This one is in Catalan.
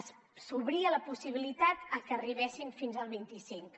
s’obria la possibilitat que arribessin fins al vint cinc